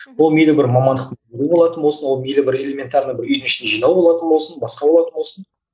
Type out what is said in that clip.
ол мейлі бер мамандықтың ол мейлі бір элементарно бір үйдің ішін жинау болатын болсын басқа болатын болсын